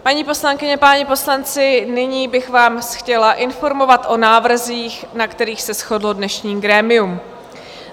Paní poslankyně, páni poslanci, nyní bych vás chtěla informovat o návrzích, na kterých se shodlo dnešní grémium.